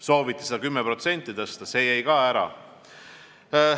Sooviti seda 10% tõsta, see jäi ka ära.